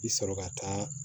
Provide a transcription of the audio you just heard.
I sɔrɔ ka taa